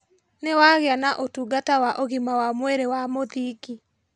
Nĩwagĩa na ũtungata wa ũgima wa mwĩrĩ wa mũthingi